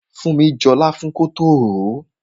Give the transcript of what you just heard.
Funmi jọ láfún kótó ròó.